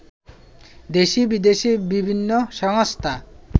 দেশি-বিদেশি বিভিন্ন সংস্থা